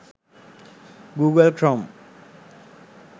google crome